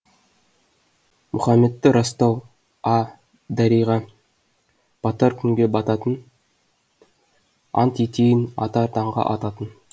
мұхаммедті растау а дариға батар күнге бататын ант етейін атар таңға ататын